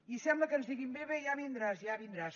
i sembla que ens diguin bé bé ja vindràs ja vindràs